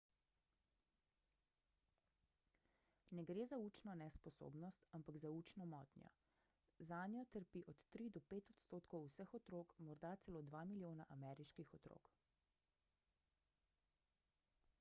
ne gre za učno nesposobnost ampak za učno motnjo zanjo trpi od 3 do 5 odstotkov vseh otrok morda celo 2 milijona ameriških otrok